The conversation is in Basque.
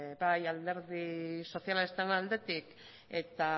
bai alderdi sozialistaren aldetik eta